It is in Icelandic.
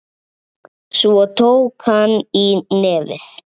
Svo tók hann í nefið.